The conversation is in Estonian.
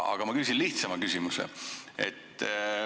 Aga ma küsin lihtsama küsimuse.